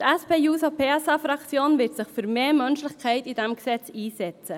Die SPJUSO-PSA-Fraktion wird sich für mehr Menschlichkeit in diesem Gesetz einsetzen.